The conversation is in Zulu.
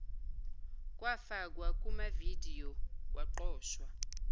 kwafakwa kumavidiyo kwaqoshwa